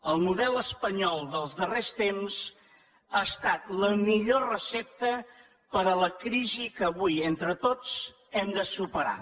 el model espanyol dels darrers temps ha estat la millor recepta per a la crisi que avui entre tots hem de superar